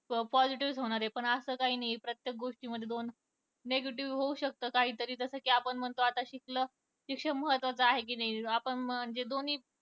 Positive चा होणार पण असं काही नाही प्रत्येक गोष्टींमध्ये दोन negative होऊ शकत काही तरी, तसं आपण म्हणतो कि शिकल, शिक्षण महत्वाचं आहे कि नाही.